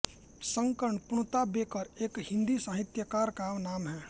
शंकर पुण्तांबेकर एक हिन्दी साहित्यकार का नाम है